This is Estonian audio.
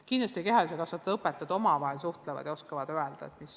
Kindlasti kehalise kasvatuse õpetajad suhtlevad omavahel ja oskavad paremini öelda.